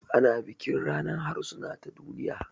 Ana bikin ranar harsuna ta duniya